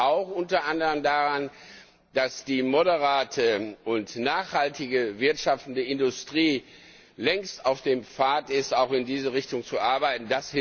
Das liegt auch unter anderem daran, dass die moderate und nachhaltig wirtschaftende Industrie längst auf dem Pfad ist, auch in diese Richtung zu arbeiten.